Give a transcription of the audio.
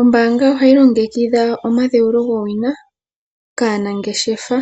Ombanga ohayi longekidha omadhewulo gwowina kanangeshefa